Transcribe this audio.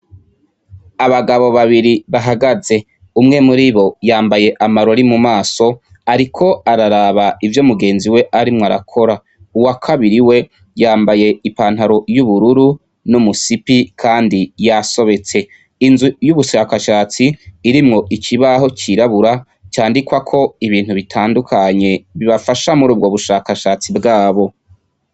Abagabo babiri bahagaze, umwe muribo yambaye amarori mu maso, ariko araraba ivyo mugenziwe arimwo arakora, uwakabiri we yambaye ipantaro y'ubururu kandi yasobetse ,inzu y'ubushakashatsi irimwo ikibaho cirabura candikwako ibintu bitandukanye, bibafasha murubwo bushakashatsi bwabo.